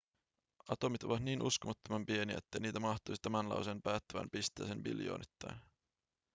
atomit ovat niin uskomattoman pieniä että niitä mahtuisi tämän lauseen päättävään pisteeseen biljoonittain